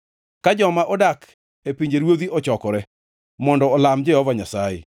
ka joma odak e pinjeruodhi ochokore mondo olam Jehova Nyasaye.